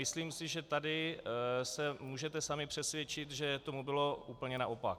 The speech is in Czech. Myslím si, že tady se můžete sami přesvědčit, že tomu bylo úplně naopak.